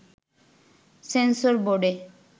sensor বোর্ডে